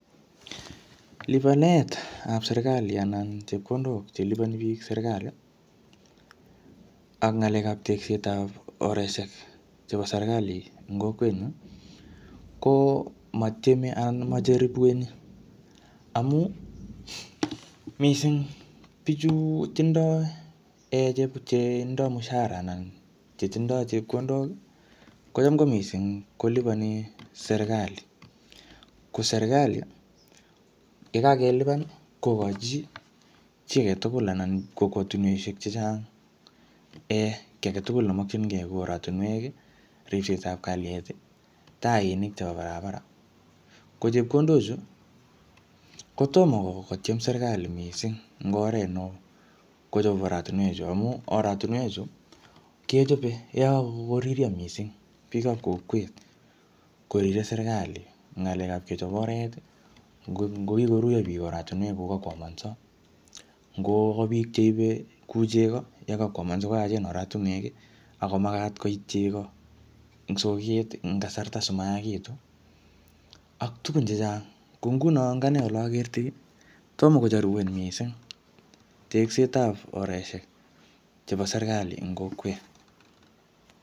Lipanetap serikali anan chepkondok che lipani biik serikali, ak ng'alekap tegset ap oreshek chebo serikali en kokwet nyuu, ko matieme anan majaripueni. Amuu, missing bichu tindoi um che tindoi mshahara anan chetindoi chepkondok, kocham ko missing kolipani serikali. Ko serikali, yekakelipan, kokochi chi age tugul anan kokwotunweshek chechang um kiy age tugul nemkchinkey kou oratunwek, ripsetab kalyet, tainik chebo barabara. Ko chepkondok chu, kotomo kotiem serikali missing eng oret neoo kochop oratunwek chu amu oratunwek chu, kechope yekakoririo missing biikap kokwet, korire serikali ng'alekap kechop oret, ngo-ngokikoruio biik oratunwek kokakwomanso, Ngo ka biik cheibe kuu chego yekakwamanso sikoyachen oratunwek, ako magat koit chego eng soket en kasarta simayaagitu, ak tugun chechang. Ko nguno, ing ane ole akertoi missing, tomo kojaripuen missing tegsetab oreshek chebo serikali eng kokwet.